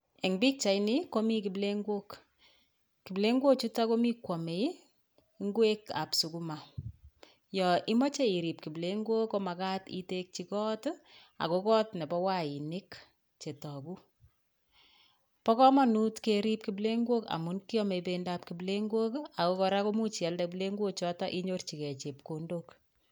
En bichaini komi kiplengok, kiplengochuto ko mi koamei ngwekab sukuma, yon imache irib kiplengok ko makat itekji koot ako koot nebo wainik che toku. Bo kamanut kerib kiplengok amun kiame bendab kiplengok aku kora imuch ialde kiplengochoto akinyorchigei chepkondok.